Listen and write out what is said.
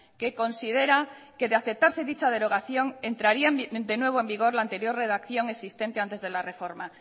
que considera que de acertarse dicha derogación entraría de nuevo en vigor la anterior redacción existente antes de la reforma